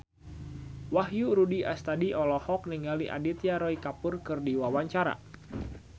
Wahyu Rudi Astadi olohok ningali Aditya Roy Kapoor keur diwawancara